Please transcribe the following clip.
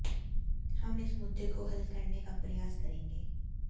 हम इस मुद्दे को हल करने का प्रयास करेंगे